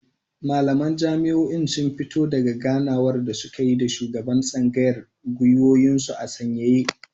Malaman jami'an sun fito daka ganawar da suka yi da shugaban tsangayar gwiwoyinsu a sanyaye